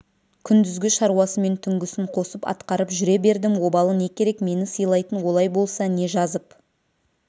күндізгі шаруасымен түнгісін қосып атқарып жүре бердім обалы не керек мені сыйлайтын олай болса не жазып